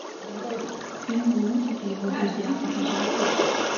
фильм лунтик и его друзья покажи